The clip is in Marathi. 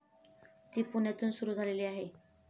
ती पुण्यातून सुरु झालेली आहे.